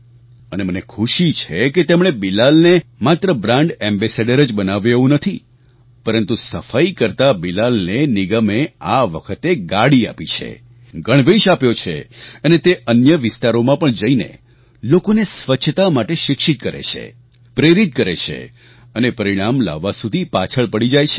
અને મને ખુશી છે કે તેમણે બિલાલને માત્ર બ્રાન્ડ એમ્બાસેડોર જ બનાવ્યો એવું નથી પરંતુ સફાઈ કરતા બિલાલને નિગમે આ વખતે ગાડી આપી છે ગણવેશ આપ્યો છે અને તે અન્ય વિસ્તારોમાં પણ જઈને લોકોને સ્વચ્છતા માટે શિક્ષિત કરે છે પ્રેરિત કરે છે અને પરિણામ લાવવા સુધી પાછળ પડી જાય છે